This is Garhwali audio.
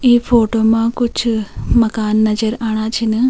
ई फोटो मा कुछ मकान नजर आणा छिन।